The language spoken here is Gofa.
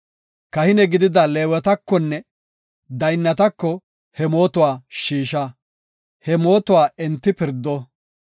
Kahine gidida Leewetakonne daynnatako he mootuwa shiisha; he mootuwa enti pirdo.